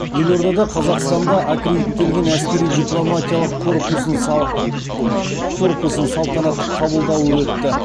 елордада қазақстанда аккредиттелген әскери дипломатиялық корпусын салтанатты қабылдауы өтті